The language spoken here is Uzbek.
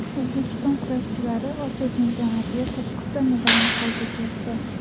O‘zbekiston kurashchilari Osiyo chempionatida to‘qqizta medalni qo‘lga kiritdi.